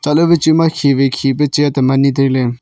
khi wai khi pe chair tam ani tai ley.